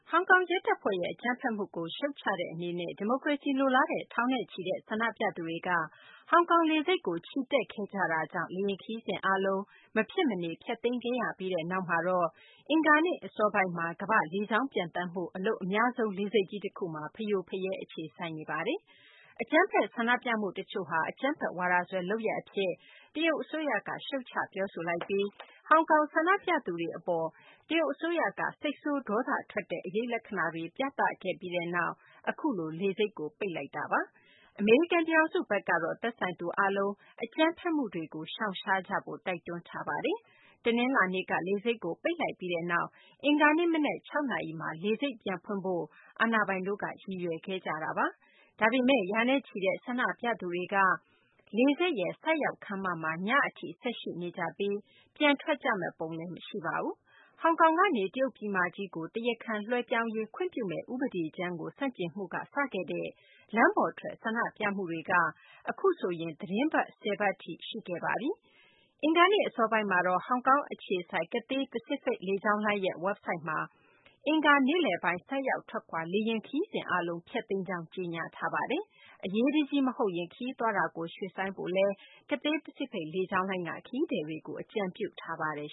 ဟောင်ကောင် ရဲတပ်ဖွဲ့ရဲ့ အကြမ်းဖက်မှုကို ရှုတ်ချတဲ့ အနေနဲ့ ဒီမိုကရေစီ လိုလားတဲ့ ထောင်နဲ့ချီတဲ့ ဆန္ဒပြသူတွေက ဟောင်ကောင် လေဆိပ်ကို ချီတက်ခဲ့ကြတာကြောင့် လေယာဉ် ခရီးစဉ် အားလုံး မဖြစ်မနေ ဖျက်သိမ်းခဲ့ရပြီးနောက် အင်္ဂါနေ့ အစောပိုင်းမှာတော့ ကမ္ဘာ့ လေကြောင်း ပျံသန်းမှုမှာ အလုပ်အများဆုံး လေဆိပ်ကြီး တခုမှာ ဖရိုဖရဲ အခြေစိုက်နေပါတယ်။ အကြမ်းဖက် ဆန္ဒပြမှု တချို့ဟာ အကြမ်းဖက်ဝါဒစွဲ လုပ်ရပ် အဖြစ် တရုတ်အစိုးရက ရှုတ်ချ ပြောဆိုပြီး ဟောင်ကောင် ဆန္ဒပြသူတွေ အပေါ် တရုတ် အစိုးရဘက်က စိတ်ဆိုး ဒေါသထွက်ကြောင်း အရိပ်လက္ခာတွေ ပြသခဲ့ပြီးတဲ့နောက် အခုလို လေဆိပ်ကို ပိတ်ချလိုက်တာပါ။ အမေရိကန် ပြည်ထောင်စု ဘက်ကတော့ သက်ဆိုင်သူ အားလုံး အကြမ်းဖက်မှုတွေကို ရှောင်ရှားကြဖို့ တိုက်တွန်းထားပါတယ်။ တနလာၤနေ့က လေဆိပ်ကို ပိတ်လိုက်ပြီးနောက် အင်္ဂါနေ့ မနက် ၆ နာရီမှာ လေဆိပ်ကို ပြန်ဖွင့်ဖို့ အာဏာပိုင်တို့က ရည်ရွယ်ထားခဲ့ကြတာပါ။ ဒါပေမယ့် ရာနဲ့ချီတဲ့ ဆန္ဒပြသူတွေက လေဆိပ် ဆိုက်ရောက် ခန်းမမှာ ညအထိ ဆက်ရှိနေကြပြီး ပြန်ထွက်ကြမယ့်ပုံလည်း မရှိပါဘူး။ ဟောင်ကောင်ကနေ တရုတ်ပြည်မကြီးကို တရားခံ လွှဲပြောင်းရေး ခွင့်ပြုမယ့် ဥပဒေကြမ်းကို ဆန့်ကျင်မှုကနေ စခဲ့တဲ့ လမ်းပေါ်ထွက် ဆန္ဒပြမှုတွေက အခုဆိုရင် သီတင်းပတ် ၁၀ ပတ်ထိ ရှိခဲ့ပါပြီ။ အင်္ဂါနေ့ အစောပိုင်းမှာတော့ ဟောင်ကောင် အခြေစိုက် Cathay Pacific လေကြောင်းလိုင်းရဲ့ ဝက်ဘ်ဆိုက်မှာတော့ အင်္ဂါနေ့လည်ပိုင်း ဆိုက်ရောက် ထွက်ခွာ လေယာဉ် ခရီးစဉ် အားလုံး ဖျက်သိမ်းကြောင်း ကြေညာထားပါတယ်။ အရေးတကြီး မဟုတ်ရင် ခရီးသွားတာကို ရွှေ့ဆိုင်းဖို့လည်း Cathay Pacific လေကြောင်းလိုင်းက ခရီးသည်တွေကို အကြံပြုထားပါတယ်